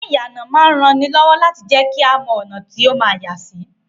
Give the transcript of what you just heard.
Iná ìyànà máa rán ni lọ́wọ́ láti jẹ́kí a mọ́ ọ̀nà tí ó ma yàsí